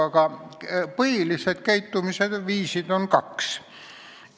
Aga põhilisi käitumisviise on kaks.